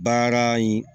Baara in